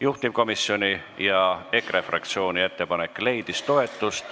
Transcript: Juhtivkomisjoni ja EKRE fraktsiooni ettepanek leidis toetust.